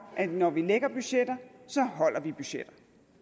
at når vi lægger budgetter så holder vi budgetter